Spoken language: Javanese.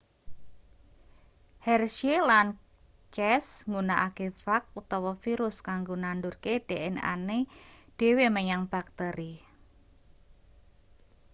hershey lan chase nggunakake fag utawa virus kanggo nandurke dnane dhewe menyang bakteri